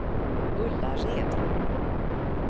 Ullared